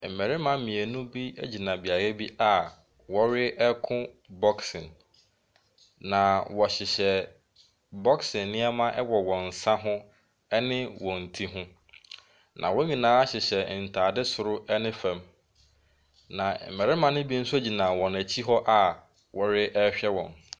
Mmarima mmienu bi gyina beaeɛ bi a wɔreko boxing. Na wɔhyehyɛ boxing nneɛma wɔ wɔn nsa ho ne wɔn ti ho. Na wɔn nyinaa hyehyɛ ntaade sor ne fam. Na mmarima ne bi nso gyina wɔn akyi a wɔrehwɛ wɔn.